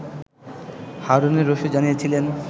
হারুনুর রশিদ জানিয়েছিলেন